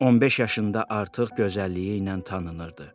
15 yaşında artıq gözəlliyi ilə tanınırdı.